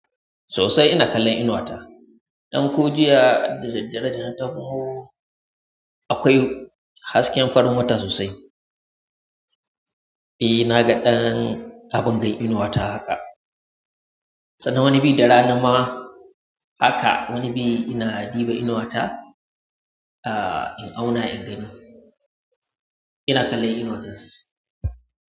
Sosai ina kallon innuwa ta. Ɗan ko jiya da daddare da na taho akwai hasken farin wata sosai. E, na ga ɗan abin da yayi inuwa ta haka. Sannan wani biyu da rana ma haka wani biyu ina ɗiba inuwa ta, in auna, in gani. Ina kallon inuwa ta sosai.